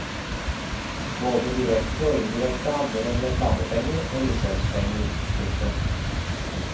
Både direkte og indirekte handler det om reklamepenger og lisenspenger. punktum